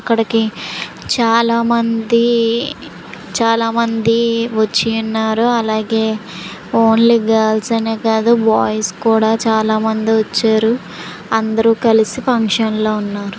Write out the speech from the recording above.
ఇక్కడికి చాలా మంది చాలా మంది వచ్చి ఉన్నారు అలాగే ఓన్లీ గర్ల్ స్ అనే కాదు బాయ్ స్ కూడా చాలామంది ఒచ్చారు అందరూ కలిసి ఫంక్షన్ లో ఉన్నారు.